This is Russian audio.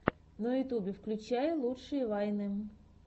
на ютьюбе включай лучшие вайны